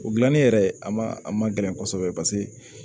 O gilanni yɛrɛ a ma a ma gɛlɛn kosɛbɛ paseke